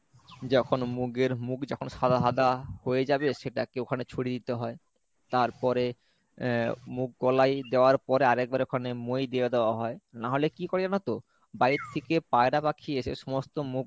যখন মুগের মুগ যখন সাদা সাদা হয়ে যাবে সেটাকে ওখানে ছড়িয়ে দিতে হয় তারপরে আহ মুগ কলাই দেয়ার পরে আরেকবার ওখানে মই দিয়ে দেওয়া হয় নাহলে কি কর এজন তো বাহির থেকে পায়রা পাখি এসে সমস্ত মুগগুলো